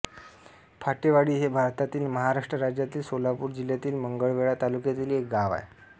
फाटेवाडी हे भारतातील महाराष्ट्र राज्यातील सोलापूर जिल्ह्यातील मंगळवेढा तालुक्यातील एक गाव आहे